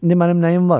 İndi mənim nəyim var?